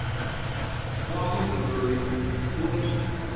wa munhu loyi u n